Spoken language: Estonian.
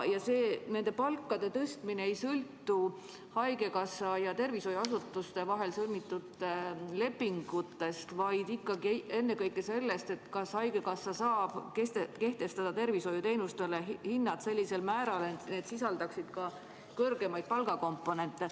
Nende palkade tõstmine ei sõltu haigekassa ja tervishoiuasutuste vahel sõlmitud lepingutest, vaid ikkagi ennekõike sellest, kas haigekassa saab kehtestada tervishoiuteenustele hinnad, mis sisaldaksid ka kõrgemaid palgakomponente.